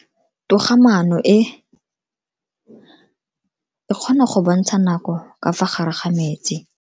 Toga-maano e, e kgona go bontsha nako ka fa gare ga metsi.